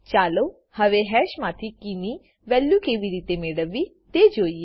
ચાલો હવે હેશ માથી કીની વેલ્યુ કેવી રીતે મેળવવી તે જોઈએ